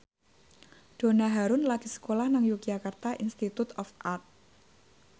Donna Harun lagi sekolah nang Yogyakarta Institute of Art